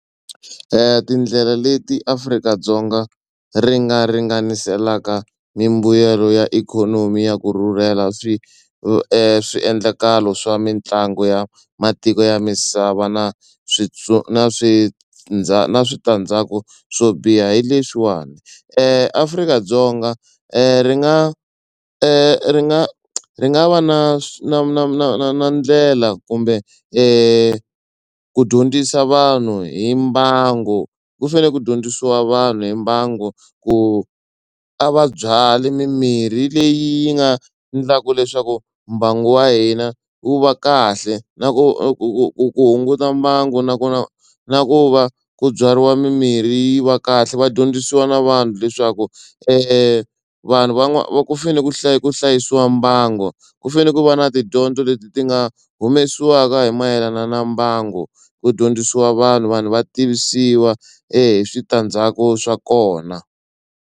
Tindlela leti Afrika-Dzonga ri nga ringaniselaka mimbuyelo ya ikhonomi ya ku rhurhela swi swiendlakalo swa mitlangu ya matiko ya misava na swi na swi na switandzhaku swo biha hi leswiwani Afrika-Dzonga ri nga ri nga ri nga va na swi na na na na na na ndlela kumbe ku dyondzisa vanhu hi mbangu. Ku fanele ku dyondzisiwa vanhu hi mbangu ku a va byali mimirhi leyi nga endlaka leswaku mbangu wa hina wu va kahle na ku ku ku ku hunguta mbangu nakona na ku va ku byariwa mimirhi yi va kahle va dyondzisiwa na vanhu leswaku vanhu ku fanele ku ku hlayisiwa mbangu ku fanele ku va na tidyondzo leti ti nga humesiwaka hi mayelana na mbangu. Ku dyondzisiwa vanhu vanhu va tivisiwa hi switandzhaku swa kona.